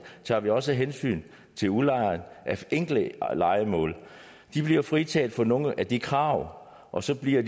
tager vi også hensyn til udlejere af enkelte lejemål de bliver fritaget for nogle af de krav og så bliver